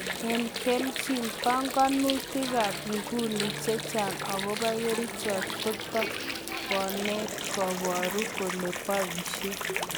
En kelchin, png'omutinikab nguni chechang' agobo kerichot kotikonet koboru kole boisie.